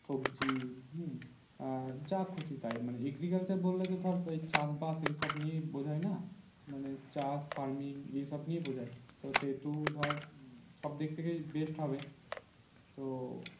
সবজি হম জা খুশি তাই মানে agriculture বললে তো ধর চাষ বাস এই সব নিয়ে ই বোঝায় না মানে চাষ farming এই সব নিয়ে বোঝায় তো সে টু ধর সব দিক থেকে best হবে তো